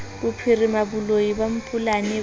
bophirima boloi ba mampolane bo